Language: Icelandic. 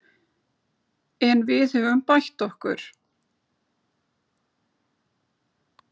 En við höfum bætt okkur